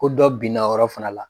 Ko dɔ binna o yɔrɔ fana la.